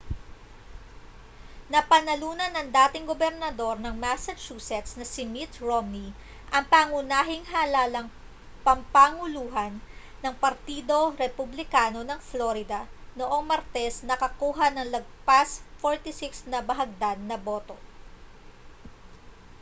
napanalunan ng dating gobernador ng massachusetts na si mitt romney ang pangunahing halalang pampanguluhan ng partido republikano ng florida noong martes na nakakuha nang lagpas 46 na bahagdan na boto